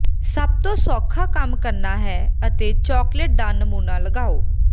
ਸਭ ਤੋਂ ਸੌਖਾ ਕੰਮ ਕਰਨਾ ਹੈ ਅਤੇ ਚਾਕਲੇਟ ਦਾ ਨਮੂਨਾ ਲਗਾਓ